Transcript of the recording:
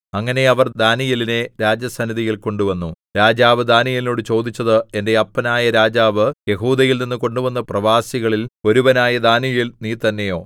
അങ്ങനെ അവർ ദാനീയേലിനെ രാജസന്നിധിയിൽ കൊണ്ടുവന്നു രാജാവ് ദാനീയേലിനോട് ചോദിച്ചത് എന്റെ അപ്പനായ രാജാവ് യെഹൂദയിൽനിന്ന് കൊണ്ടുവന്ന പ്രവാസികളിൽ ഒരുവനായ ദാനീയേൽ നീ തന്നെയോ